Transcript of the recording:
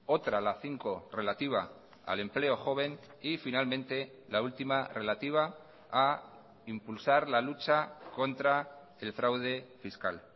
otra la cinco relativa al empleo joven y finalmente la última relativa a impulsar la lucha contra el fraude fiscal